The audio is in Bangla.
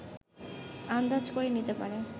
আন্দাজ করে নিতে পারে